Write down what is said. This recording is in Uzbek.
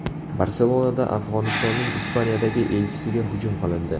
Barselonada Afg‘onistonning Ispaniyadagi elchisiga hujum qilindi.